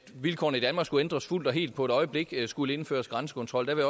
vilkårene i danmark skulle ændres fuldt og helt op på et øjeblik skulle indføres grænsekontrol der vil